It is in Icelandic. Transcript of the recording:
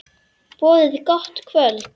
Boðið gott kvöld.